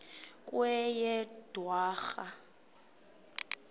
kweyedwarha